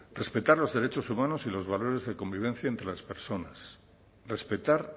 respetar los derechos humanos y los valores de convivencia entre las personas respetar